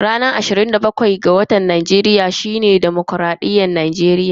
Ranar ashirin da bakwai ga watan Maris shine ranar dimokuraɗiyya a Najeriya.